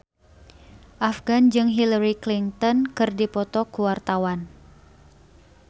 Afgan jeung Hillary Clinton keur dipoto ku wartawan